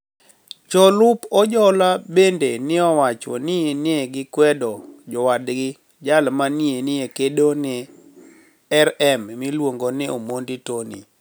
Jolup Ojola benide ni e owach nii ni e gikwedo jowadgi jal ma ni e kedo ni e niRM miluonigo nii Omonidi Toniy